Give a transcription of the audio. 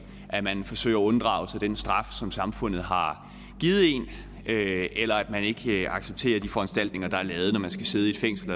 at man forsøger at unddrage sig den straf som samfundet har givet en eller at man ikke accepterer de foranstaltninger der er lavet når man skal sidde i et fængsel